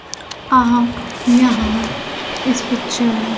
आप यहां इस पिक्चर --